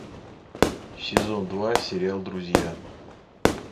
сезон два сериал друзья